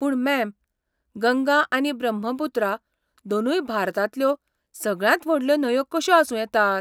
पूण मॅम, गंगा आनी ब्रह्मपुत्रा दोनूय भारतांतल्यो सगळ्यांत व्हडल्यो न्हंयो कशो आसूं येतात?